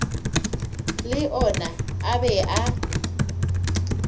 le ona a be a